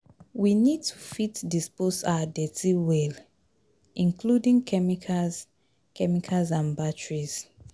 we need to fit dispose our dirty well, including chemicals chemicals and batteries